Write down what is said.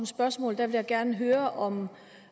spørgsmål vil jeg gerne høre om